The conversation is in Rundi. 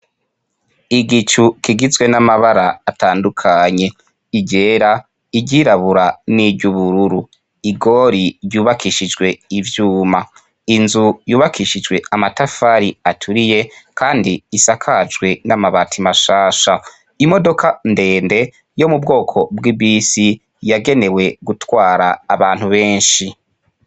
Igicu kigizwe n'amabara atandukanye iryera iryirabura n'iryo ubururu igori ryubakishijwe ivyuma inzu yubakishijwe amatafari aturiye, kandi isakajwe n'amabati mashasha imodoka ndende yo mu bwoko bw'ibisi yagenewe gutwara abantu benshi.